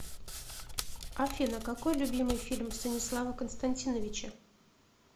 афина какой любимый фильм станислава константиновича